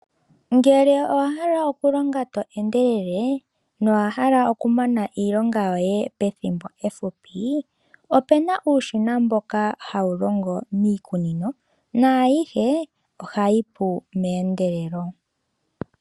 Ngele owa hala okulonga to endelele nowa hala okumana iilonga yoye pethimbo efupi, ope na uushina mboka hawu longo miikunino, naayihe ohayi pu meendelelo.